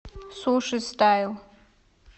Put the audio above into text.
суши стайл